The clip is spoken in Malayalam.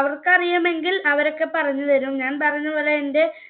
അവർക്ക് അറിയുമെങ്കിൽ അവരൊക്കെ പറഞ്ഞുതരും. ഞാൻ പറഞ്ഞപോലെ